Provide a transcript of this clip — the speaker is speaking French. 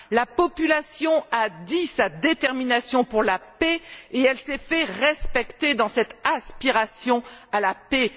La population a dit sa détermination pour la paix et elle s'est fait respecter dans cette aspiration à la paix.